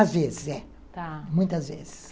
Às vezes, é. Tá. Muitas vezes.